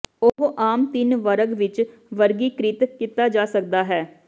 ਉਹ ਆਮ ਤਿੰਨ ਵਰਗ ਵਿੱਚ ਵਰਗੀਕ੍ਰਿਤ ਕੀਤਾ ਜਾ ਸਕਦਾ ਹੈ